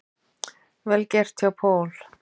Vel gert hjá Paul.